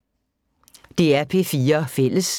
DR P4 Fælles